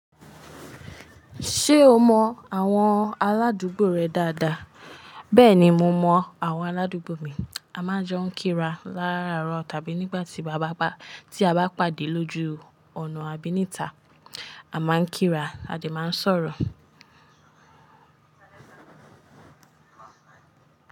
Ṣé o mọ àwọn aládùúgbò rẹ dáadáa? Bẹ́ẹ̀ni mo mọ àwọn aládùúgbò mi. A máa ń jọ ń kíra láràárọ̀ tàbí nígbà tí a bá pàdé lójú ọ̀nà àbí níta. A máa ń kíra a dẹ̀ máa ń sọ̀rọ̀